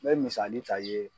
N bɛ misali ta i ye.